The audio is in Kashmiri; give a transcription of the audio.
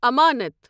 امانت